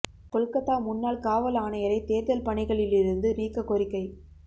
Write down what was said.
கொல்கத்தா முன்னாள் காவல் ஆணையரை தேர்தல் பணிகளில் இருந்து நீக்க கோரிக்கை